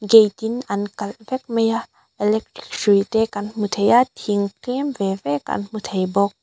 gate in an kalh vek mai a electric hrui te kan hmu thei a thing tlem ve ve kan hmu thei bawk.